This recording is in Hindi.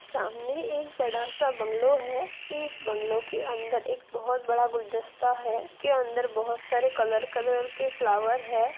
सामने एक बड़ा सा बंगलो है इस बंगलो के अंदर एक बहुत बड़ा गुलदस्ता है की अंदर बहुत से कलर कलर के फ्लावर है।